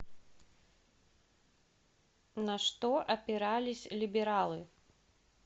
на что опирались либералы